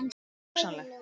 Það er hugsanlegt.